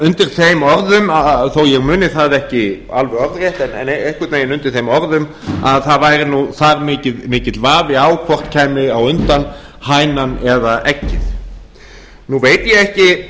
undir þeim orðum þó að ég muni það ekki alveg orðrétt en einhvern veginn undir þeim orðum að það væri þar mikill vafi á hvort kæmi á undan hænan eða eggið nú veit ég ekki